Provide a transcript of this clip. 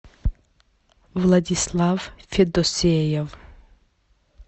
владислав федосеев